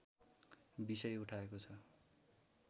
विषय उठाएको छ